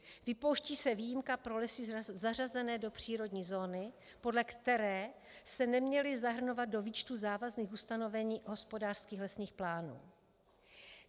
Vypouští se výjimka pro lesy zařazené do přírodní zóny, podle které se neměly zahrnovat do výčtu závazných ustanovení hospodářských lesních plánů.